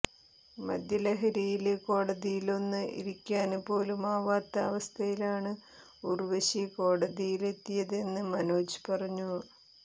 മദ്യലഹരിയില് കോടതിയിലൊന്ന് ഇരിയ്ക്കാന് പോലുമാവാത്ത അവസ്ഥയിലാണ് ഉര്വശി കോടതിയിലെത്തിയതെന്ന് മനോജ് പറഞ്ഞു